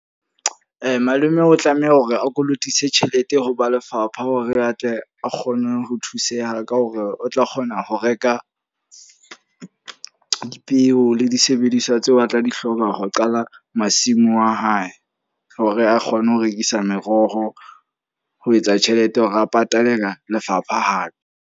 Malome o tlameha hore a kolotisa tjhelete ho ba lefapha. Hore atle a kgone ho thuseha ka hore o tla kgona ho reka di peo le disebediswa tseo a tla di hloka ho qala masimo a hae. Hore a kgone ho rekisa meroho ho etsa tjhelete hore a patale ka lefapha hape.